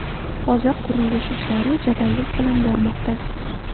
Hozir qurilish ishlari jadallik bilan bormoqda.